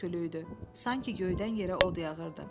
Sanki göydən yerə od yağırdı.